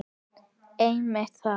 Einmitt það!